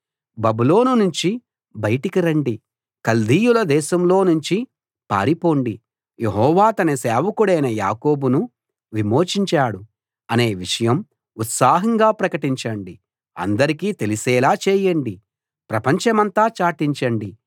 బబులోను నుంచి బయటికి రండి కల్దీయుల దేశంలో నుంచి పారిపొండి యెహోవా తన సేవకుడైన యాకోబును విమోచించాడు అనే విషయం ఉత్సాహంగా ప్రకటించండి అందరికీ తెలిసేలా చేయండి ప్రపంచమంతా చాటించండి